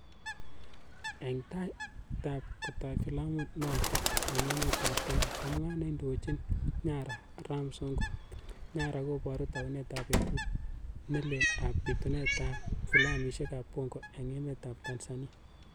Eng' taait ap kotaai filamuit notook ing' emet ap Kenya, komwaa neindoochini 'Nyara' Ram kasongo "Nyara kobooru taaunet ap petuut nelel ap piituunatet ap filamishek ap bongo eng' emet ap tanzania.